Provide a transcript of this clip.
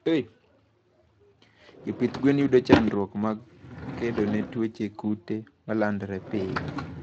Jopith gwen yudo chandruok mg kedone tuoche kute malandore piyo